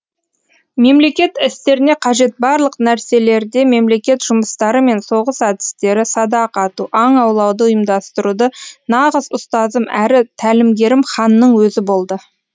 мемлекет істеріне қажет барлық нәрселерде мемлекет жұмыстары мен соғыс әдістері садақ ату аң аулауды ұйымдастыруда нағыз ұстазым әрі тәлімгерім ханның өзі болды